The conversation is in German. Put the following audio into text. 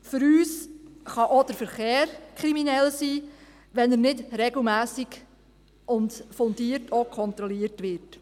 Für uns kann auch der Verkehr kriminell sein, wenn er nicht regelmässig und auch fundiert kontrolliert wird.